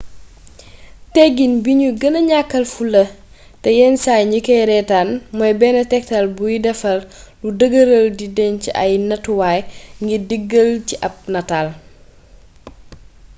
tegin bi nu gëna ñàkkaal fula te yen saay ñ kay reetaan mooy benn tegtal buy defar luy dëgëral di denc ay nattuwaay ngir diggal ci ab nataal